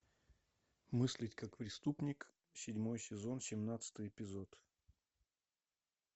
мыслить как преступник седьмой сезон семнадцатый эпизод